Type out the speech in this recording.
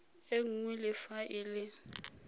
e nngwe le fa e